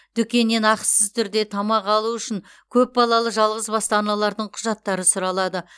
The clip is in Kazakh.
дүкеннен ақысыз түрде тамақ алу үшін көпбалалы жалғызбасты аналардың құжаттары сұралады